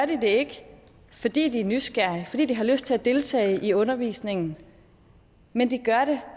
det ikke fordi de er nysgerrige fordi de har lyst til at deltage i undervisningen men de gør det